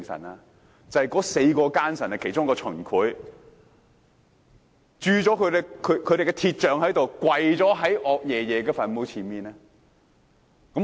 意思是有4個奸臣，其中一人是秦檜，被人以白鐵鑄了雕像跪在岳爺爺墳前。